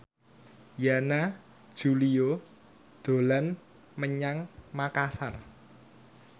Yana Julio dolan menyang Makasar